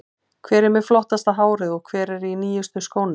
Hver er með flottasta hárið og hver er í nýjustu skónum?